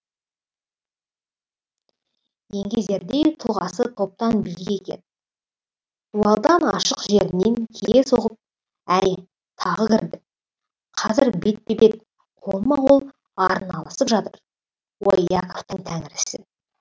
еңгезердей тұлғасы топтан биік екен дуалдың ашық жерінен кие соғып әне тағы кірді қазір бетпе бет қолма қол арналысып жатыр ой иаковтың тәңірісі